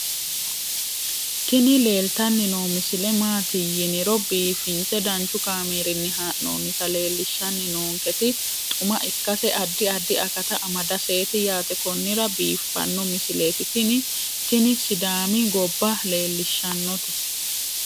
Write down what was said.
tini leeltanni noo misile maaati yiniro biifinse danchu kaamerinni haa'noonnita leellishshanni nonketi xuma ikkase addi addi akata amadaseeti yaate konnira biiffanno misileeti tini tini sidaami gobba leellishshannote